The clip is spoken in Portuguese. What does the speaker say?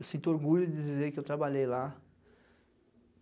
Eu sinto orgulho de dizer que eu trabalhei lá.